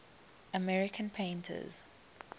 american painters